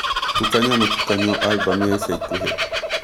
tukania mũtukanio Albumu ya ica ikuhĩ